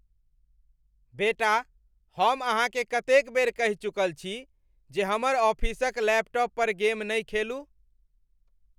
बेटा, हम अहाँकेँ कतेक बेर कहि चुकल छी जे हमर ऑफिसक लैपटॉप पर गेम नहि खेलू?